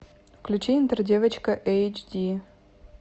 включи интер девочка эйч ди